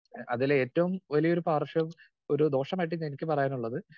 speaker 2 അതിലെ ഏറ്റവും വലിയൊരു പാർശ്വം ഏഹ് ഒരു ദോഷമായിട്ട് എനിക്ക് പറയാനുള്ളത്